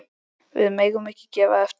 Við megum ekki gefa eftir.